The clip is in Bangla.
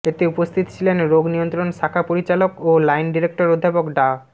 এতে উপস্থিত ছিলেন রোগ নিয়ন্ত্রণ শাখা পরিচালক ও লাইন ডিরেক্টর অধ্যাপক ডা